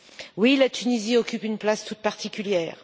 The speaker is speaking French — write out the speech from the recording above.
Oui, la Tunisie occupe une place toute particulière.